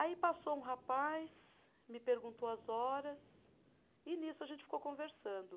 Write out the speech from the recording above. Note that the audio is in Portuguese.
Aí passou um rapaz, me perguntou as horas, e nisso a gente ficou conversando.